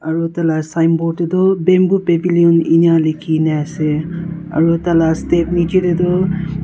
aru taila signboard te tu bamboo pavilion enia likhiana ase aro taila step niche te tu.